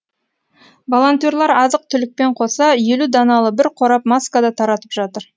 волонтерлар азық түлікпен қоса елу даналы бір қорап маска да таратып жатыр